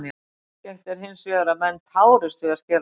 Algengt er hins vegar að menn tárist við að skera lauk.